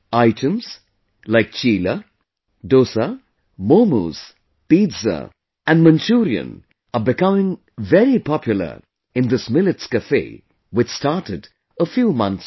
Items like Chilla, Dosa, Momos, Pizza and Manchurian are becoming very popular in this Millets Cafe which started a few months back